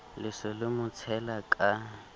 le se le motshela ka